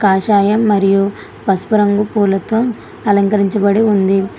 కాషాయం మరియు పసుపు రంగు పూలతో అలంకరించబడి ఉంది.